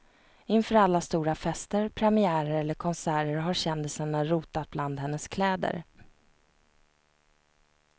Inför alla stora fester, premiärer eller konserter har kändisarna rotat bland hennes kläder.